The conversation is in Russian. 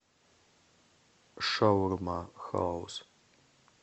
шаурмахаус